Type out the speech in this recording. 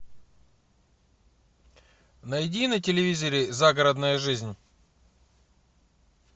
найди на телевизоре загородная жизнь